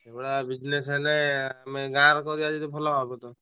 ସେଇ ଭଳିଆ business ହେଲେ ଆମେ ଗାଁ ରେ କରିବା ଯଦି ଭଲ ହବ ତ?